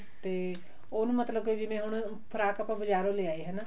ਤੇ ਉਹਨੂੰ ਮਤਲਬ ਕੇ ਜਿਵੇਂ ਹੁਣ ਫਰਾਕ ਬਜਾਰੋਂ ਲੈ ਆਏ ਹਨਾ